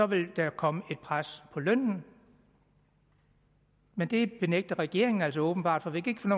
vil der komme et pres på lønnen men det benægter regeringen altså åbenbart for vi kan